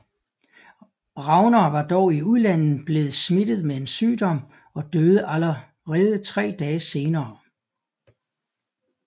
Regnar var dog i udlandet blevet smittet med en sygdom og døde allerede tre dage senere